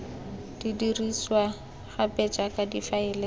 di dirisiwa gape jaaka difaele